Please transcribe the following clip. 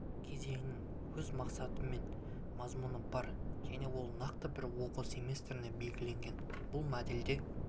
кезеңнің өз мақсаты мен мазмұны бар және ол нақты бір оқу семестріне белгіленген бұл модельде